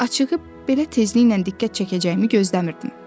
Açığı belə tezliklə diqqət çəkəcəyimi gözləmirdim.